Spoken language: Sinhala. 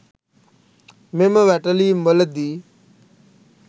මෙම වැටලීම්වලදී